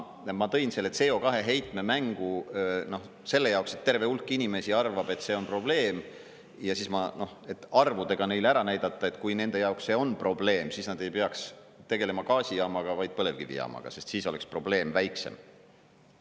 Ma tõin selle CO2-heitme mängu selle jaoks, et terve hulk inimesi arvab, et see on probleem, et arvudega neile ära näidata, et kui nende jaoks see on probleem, siis nad ei peaks tegelema gaasijaamaga, vaid põlevkivijaamaga, sest siis oleks probleem väiksem.